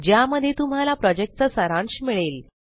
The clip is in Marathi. ज्यामध्ये तुम्हाला प्रॉजेक्टचा सारांश मिळेल